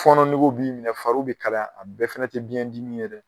Fɔnɔ nege bɛ i minɛ fariw bɛ kalaya a bɛɛ fana tɛ biɲɛdimi ye dɛ